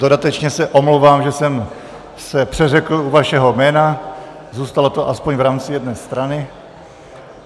Dodatečně se omlouvám, že jsem se přeřekl u vašeho jména, zůstalo to aspoň v rámci jedné strany.